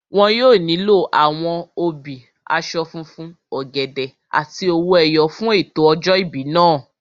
Wọn yóò nílò àwọn obì, aṣọ funfun, ọ̀gẹ̀dẹ̀ àti owó ẹyọ fún ètò ọjọ́ ìbí náà